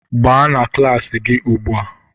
Gbaga na klas gị ugbu a